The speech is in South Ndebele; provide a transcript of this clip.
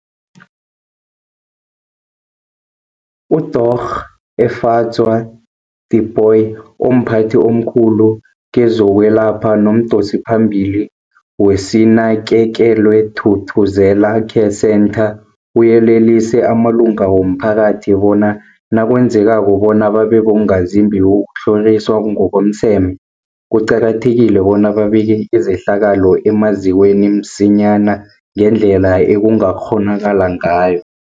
UDorh Efadzwa Tipoy, omphathi omkhulu kezokwelapha nomdosiphambili weSinakekelwe Thuthuzela Care Centre, uyelelise amalunga womphakathi bona nakwenzekako bona babe bongazimbi bokutlhoriswa ngokomseme, kuqakathekile bona babike izehlakalo emazikweni msinyana ngendlela ekungakghonakala ngayo.